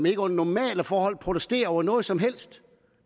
ikke under normale forhold protesterer over noget som helst